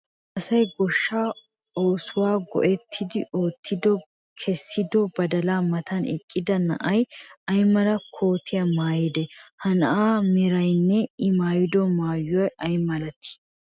Asay goshshaa oosuwa go"ettidi ootti kessiddo badalaa matan eqqida na'ay ay mala kootiya maayidee? Ha na'aassi meraynne I mayddo maayoy ay malattii?